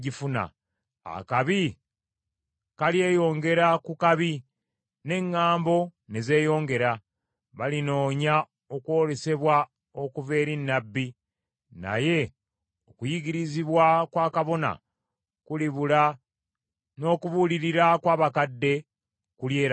Akabi kalyeyongera ku kabi, ne ŋŋambo ne zeeyongera; balinoonya okwolesebwa okuva eri nnabbi, naye okuyigirizibwa kwa kabona kulibula n’okubuulirira kw’abakadde kulyerabirwa.